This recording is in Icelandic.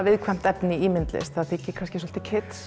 viðkvæmt efni í myndlist því það þykir kannski svolítið